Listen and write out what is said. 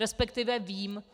Respektive vím.